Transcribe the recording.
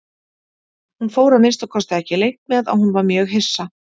Hún fór að minnsta kosti ekki leynt með að hún var mjög hissa.